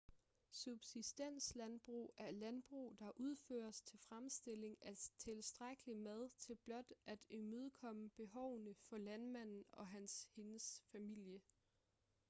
subsistenslandbrug er landbrug der udføres til fremstilling af tilstrækkelig mad til blot at imødekomme behovene for landmanden og hans/hendes familie